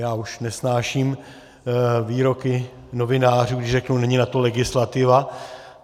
Já už nesnáším výroky novinářů, když řeknou "není na to legislativa".